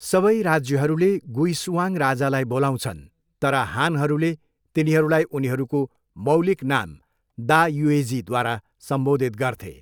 सबै राज्यहरूले गुइसुआङ राजालाई बोलाउँछन्, तर हानहरूले तिनीहरूलाई उनीहरूको मौलिक नाम दा युएझीद्वारा सम्बोधित गर्थे।